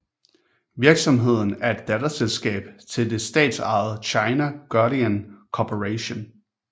Virksomheden er et datterselskab til det statsejede China Guodian Corporation